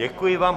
Děkuji vám.